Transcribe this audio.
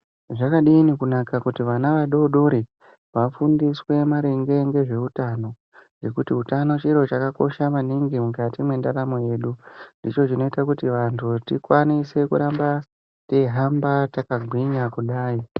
Zvakadini kunaka kuti vana vadoodori vafundiswe maringe ngezveutano ngekuti utano chiro chakakosha maningi mukati mwendaramo yedu ndicho chinoita kuti vantu tikwanise kuramba teihamba takagwinya kudai.